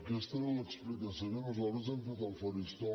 aquesta era l’explicació que nosaltres hem fet al faristol